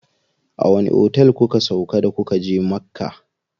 A wani otel kuka sauƙa da kuka je Makka?